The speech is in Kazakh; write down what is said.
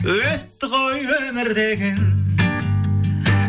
өтті ғой өмір деген